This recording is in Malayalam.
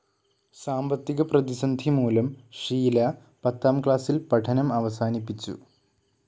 സാമ്പത്തിക പ്രതിസന്ധി മൂലം ഷീല പത്താം ക്ലാസിൽ പഠനം അവസാനിപ്പിച്ചു.